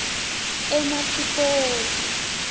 enasipoti